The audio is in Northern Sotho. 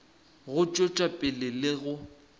go tšwetša pele le go